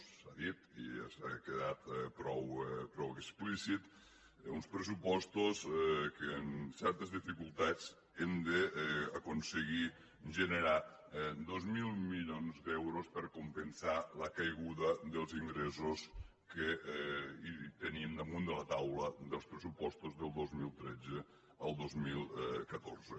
s’ha dit i ja ha quedat prou explícit uns pressupostos que amb certes dificultats hem d’aconseguir generar dos mil milions d’euros per compensar la caiguda dels ingressos que tenim damunt de la taula dels pressupostos del dos mil tretze al dos mil catorze